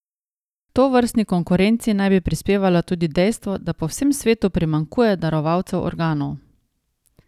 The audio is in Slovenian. H tovrstni konkurenci naj bi prispevalo tudi dejstvo, da po vsem svetu primanjkuje darovalcev organov.